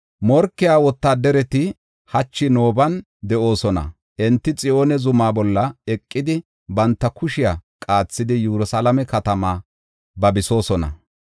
Morkiya wotaadarati hachi Nooban de7oosona; enti Xiyoone zuma bolla eqidi, banta kushiya qaathidi, Yerusalaame katamaa babisoosona.